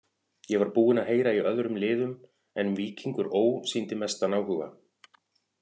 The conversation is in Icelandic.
Ég var búinn að heyra í öðrum liðum en Víkingur Ó. sýndi mestan áhuga.